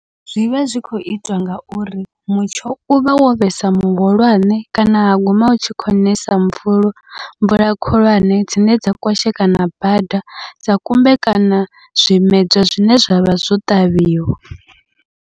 Zwivha zwi khou itwa ngauri mutsho uvha wo vhesa muhulwane, kana ha guma u tshi khou nesa mvula mvula khulwane dzine dza kwashekana bada, dza kumbekana zwimedzwa zwine zwavha zwo ṱavhiwa.